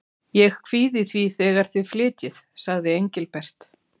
Ég kvíði fyrir þegar þið flytjið, sagði Engilbert.